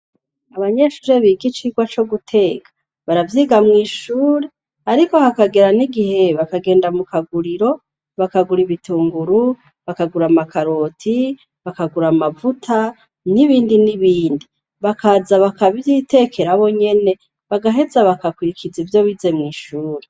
Abanyeshure biga icigwa co guteka, baravyiga mw'ishure, ariko hakagera n'igihe bakagenda mu kaguriro, bakagura ibitunguru, bakagura amakaroti, bakagura amavuta, n'ibindi n'ibindi. Bakaza bakavyitekera bo nyene, bagahez bagakurikiza ivyo bire mw'ishure.